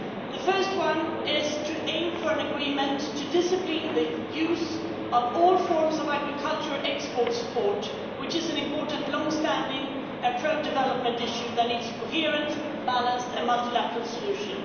The first one is to aim for an agreement to discipline the use of all forms of agricultural export support, which is an important long standing and pro development issue that needs a coherent, balanced and multilateral solution.